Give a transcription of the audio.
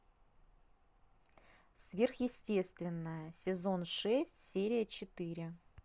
сверхъестественное сезон шесть серия четыре